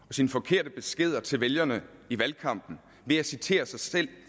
og sine forkerte beskeder til vælgerne i valgkampen ved at citere sig selv